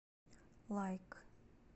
лайк